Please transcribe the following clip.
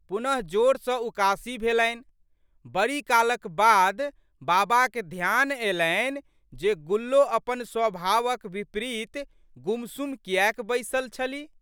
पुनःजोर सँ उकासी भेलनि। बड़ी कालक बाद बाबाक ध्यान अयलनि जे गुल्लो अपन स्वभावक बिपरीत गुमसुम कियैक बैसलि छलि।